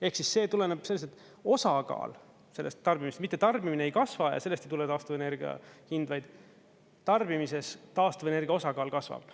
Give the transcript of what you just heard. Ehk siis see tuleneb sellest, et osakaal sellest tarbimist, mitte tarbimine ei kasva ja sellest ei tule taastuvenergia hind, vaid tarbimises taastuvenergia osakaal kasvab.